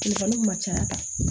ma caya